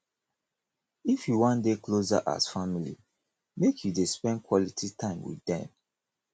if you wan dey closer as family make you dey spend quality time wit dem